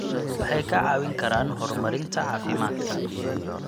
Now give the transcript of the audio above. Waxay kaa caawin karaan horumarinta caafimaadka.